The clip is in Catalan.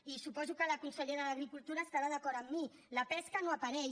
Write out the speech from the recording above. i suposo que la consellera d’agricultura estarà d’acord amb mi la pesca no hi apareix